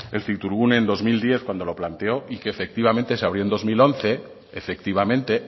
en cictourgune en dos mil diez cuando lo planteó y que efectivamente se abrió en dos mil once efectivamente